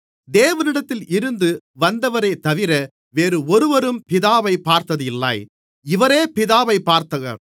தேவனிடத்தில் இருந்து வந்தவரேதவிர வேறு ஒருவரும் பிதாவைப் பார்த்ததில்லை இவரே பிதாவைப் பார்த்தவர்